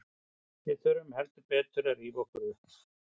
Við þurfum heldur betur að rífa okkur upp.